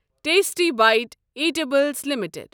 tasty bite eatables limited